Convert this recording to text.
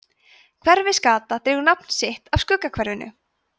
hverfisgata dregur nafn sitt af skuggahverfinu